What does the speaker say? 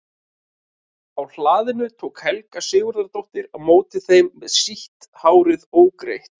Á hlaðinu tók Helga Sigurðardóttir á móti þeim með sítt hárið ógreitt.